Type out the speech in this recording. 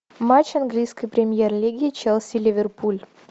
матч английской премьер лиги челси ливерпуль